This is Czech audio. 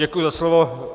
Děkuji za slovo.